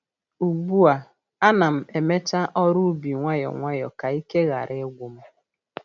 Ugbu a, a na'm emecha ọrụ ubi nwayọ nwayọ ka ike ghara ịgwu m